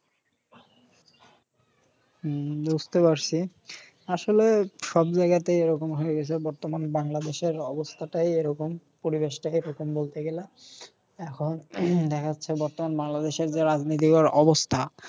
হম বুঝতে পারসি। আসলে সব জায়গাতেই এরকম হয়ে গেসে। বর্তমান বাংলাদেশের অবস্থাটাই এরকম। পরিবেশটাকে প্রথম বলতে গেলা। এখন দেখা যাচ্ছে বর্তমান বাংলাদেশের যে রাজনীতির যা অবস্থা।